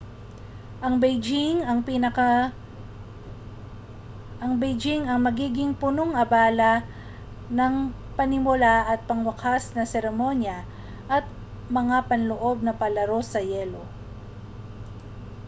ang beijing ang magiging punong-abala ng panimula at pangwakas na mga seremonya at mga panloob na palaro sa yelo